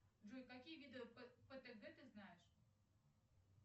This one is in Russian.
джой какие виды птг ты знаешь